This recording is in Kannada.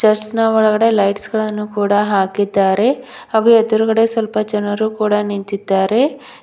ಚೇರ್ಸ್ ನ ಒಳಗಡೆ ಲೈಟ್ಸ್ ಗಳನ್ನು ಕೂಡ ಹಾಕಿದ್ದಾರೆ ಹಾಗು ಎದ್ರುಗಡೆ ಸ್ವಲ್ಪ ಜನರು ಕೂಡ ನಿಂತಿದ್ದಾರೆ.